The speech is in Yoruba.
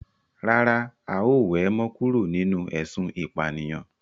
Rárá, a ó we mo kúrò nínú ésun ìpànìyàn